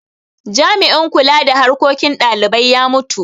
Jami'in kula da harkokin dalibai ya mutu.